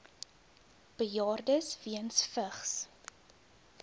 bejaardes weens vigs